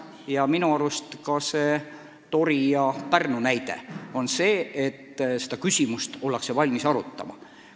Ja minu arust see Tori valla ja Pärnu näide tõestab, et seda küsimust ollakse valmis arutama.